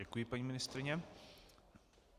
Děkuji, paní ministryně.